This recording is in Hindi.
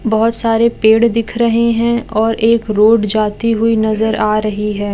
बहोत सारे पेड़ दिख रहे है और एक रोड जाती हुई नजर आ रही है।